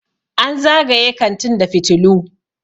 an zagaye kantin da fitilu